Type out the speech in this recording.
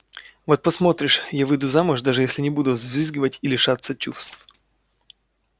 вот посмотришь я выйду замуж даже если не буду взвизгивать и лишаться чувств